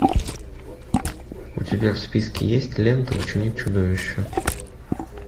у тебя в списке есть лента ученик чудовища